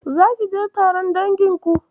Zaki je taron danginku?